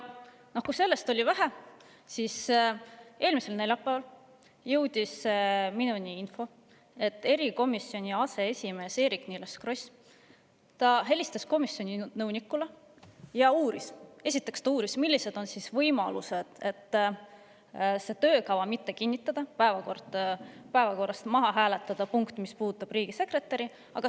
Nagu sellest oleks veel vähe, jõudis eelmisel neljapäeval minuni info, et erikomisjoni aseesimees Eerik-Niiles Kross helistas komisjoni nõunikule ja uuris, millised on võimalused komisjoni töökava mitte kinnitada ja hääletada päevakorrast maha see punkt, mis puudutab riigisekretäri.